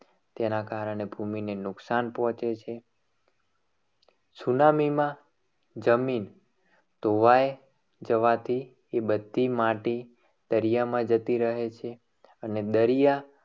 તેના કારણે ભૂમિને નુકસાન પહોંચે છે સુનામીમાં જમીન ધોવાય જવાથી તે બધી માટી દરિયામાં જતી રહે છે. અને દરિયા